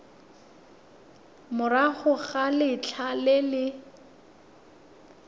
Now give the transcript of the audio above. morago ga letlha le le